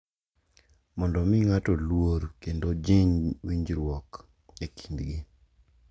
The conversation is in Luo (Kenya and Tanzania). Mondo omi ng’ato luor kendo ojing’ winjruok e kindgi.